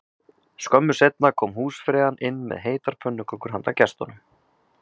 Skömmu seinna kom húsfreyjan inn með heitar pönnukökur handa gestunum